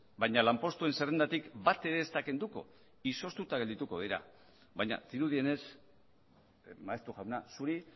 baina lanpostuen zerrendatik bat ere ez da kenduko izoztuta geldituko dira baina dirudienez maeztu jauna zuri